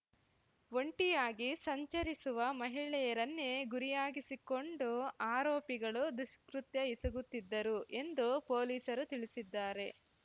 ಒಂಟಿಯಾಗಿ ಸಂಚರಿಸುವ ಮಹಿಳೆಯರನ್ನೇ ಗುರಿಯಾಗಿಸಿಕೊಂಡು ಆರೋಪಿಗಳು ದುಷ್ಕೃತ್ಯ ಎಸಗುತ್ತಿದ್ದರು ಎಂದು ಪೊಲೀಸರು ತಿಳಿಸಿದ್ದಾರೆ